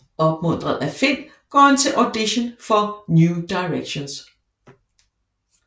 Opmuntret af Finn går han til audition for New Directions